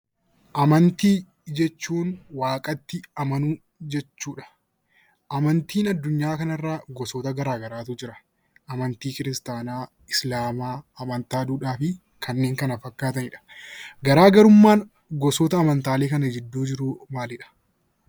Amantaa jechuun waaqatti amanuu jechuudha. Amantaan addunyaa kanarra gosoota garaagaraatu jira. Amantii kiristaanaa, islaamaa , amantaa duudhaa fi kanneen kana fakkaatanidha. Garaagarummaan gosoota amantaaleen kana gidduu jiru maalidhaa?